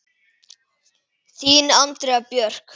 Þín Andrea Björk.